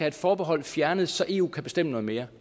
et forbehold fjernet så eu kan bestemme noget mere